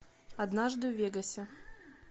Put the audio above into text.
однажды в вегасе